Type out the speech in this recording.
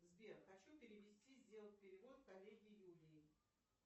сбер хочу перевести сделать перевод коллеге юлии